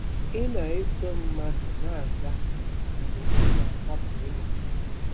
Ị na-eso mmadụ na-aga mgbe ị na-ahapụ ụlọ gị.